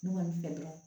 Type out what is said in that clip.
Ne kɔni fɛ yan